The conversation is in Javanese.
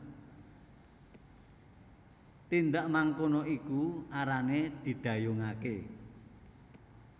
Tindak mangkono iku arane didhayungake